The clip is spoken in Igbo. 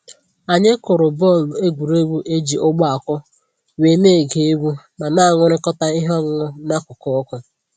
Anyị kụrụ bọọlụ egwuregwu e ji ugbo akụ, wee na-ege egwu ma na-aṅụrịkọta ihe ọṅụṅụ n'akụkụ ọkụ